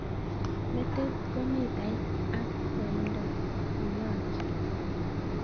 Metik ko mitait ak koindo nenyolchin.